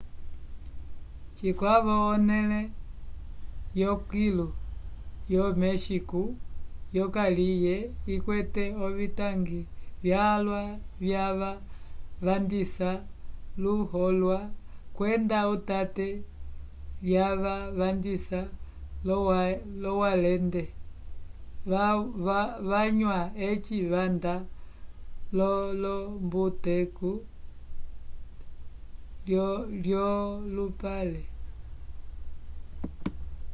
cikwavo onẽle yokilu yo méxico yokaliye ikwete ovitangi vyalwa yava vandisa luholwa kwenda utate lyava vandisa l'owalende vanywa eci vanda k'olombuteku yolupale